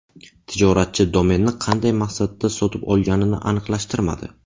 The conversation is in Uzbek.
Tijoratchi domenni qanday maqsadda sotib olganini aniqlashtirmadi.